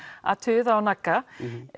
að tuða og nagga